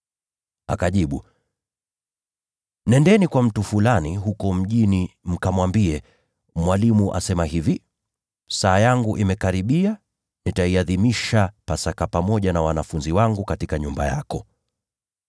Akajibu, “Nendeni kwa mtu fulani huko mjini, mkamwambie, ‘Mwalimu asema hivi: Saa yangu imekaribia. Nitaiadhimisha Pasaka pamoja na wanafunzi wangu katika nyumba yako.’ ”